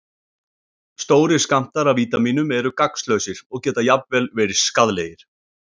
Stórir skammtar af vítamínum eru gagnslausir og geta jafnvel verið skaðlegir.